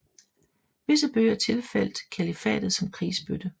Visse bøger tilfaldt kalifatet som krigsbytte